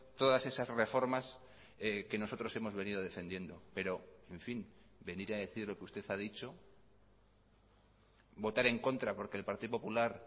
todas esas reformas que nosotros hemos venido defendiendo pero en fin venir a decir lo que usted ha dicho votar en contra porque el partido popular